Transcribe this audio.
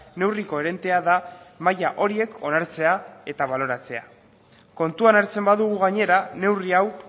neurri koherentea da maila horiek onartzea eta baloratzea kontuan hartzen badugu gainera neurri hau